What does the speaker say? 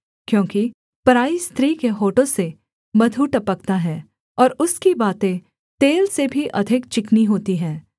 क्योंकि पराई स्त्री के होठों से मधु टपकता है और उसकी बातें तेल से भी अधिक चिकनी होती हैं